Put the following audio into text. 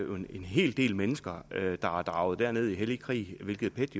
en hel del mennesker der er draget derned i hellig krig hvilket pet